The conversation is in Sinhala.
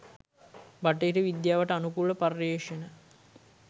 බටහිර විද්‍යාවට අනුකූල පර්යේෂණ